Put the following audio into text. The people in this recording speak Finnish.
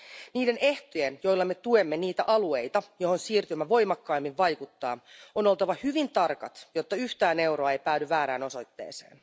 Niiden ehtojen, joilla me tuemme niitä alueita, joihin siirtymä voimakkaimmin vaikuttaa, on oltava hyvin tarkat, jotta yhtään euroa ei päädy väärään osoitteeseen.